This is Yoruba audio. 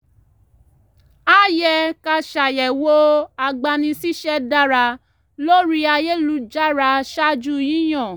a yẹ ká ṣàyẹ̀wò agbani-síṣẹ́ dára lórí ayélujára ṣáájú yíyan